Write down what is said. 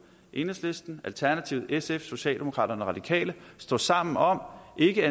enhedslisten alternativet sf socialdemokraterne radikale står sammen om ikke